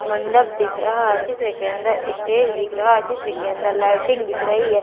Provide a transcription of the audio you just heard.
मंडप दिख रहा है चित्र के अंदर स्टेज दिख रहा है चित्र के अंदर लाइटिंग दिख रही है।